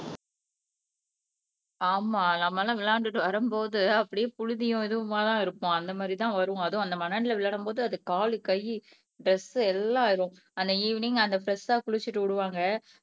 ஆமா நம்ம எல்லாம் விளையாண்டுட்டு வரும்போது அப்படியே புழுதியும் இதுவுமாதான் இருப்போம் அந்த மாதிரிதான் வருவோம் அதுவும் அந்த மண்ணுல விளையாடும்போது அது காலு கை டிரஸ் எல்லாம் ஆயிரும் ஆனா ஈவினிங் அந்த பிரெஷ்ஷா குளிச்சுட்டு விடுவாங்க